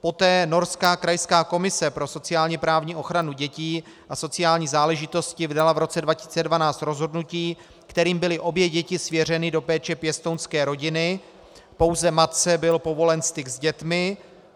Poté norská krajská komise pro sociálně-právní ochranu dětí a sociální záležitosti vydala v roce 2012 rozhodnutí, kterým byly obě děti svěřeny do péče pěstounské rodiny, pouze matce byl povolen styk s dětmi.